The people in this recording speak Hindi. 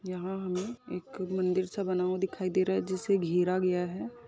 यहाँ हमे एक मंदिर सा बना हुआ दिखाई दे रहा है जिसे घेरा गया है।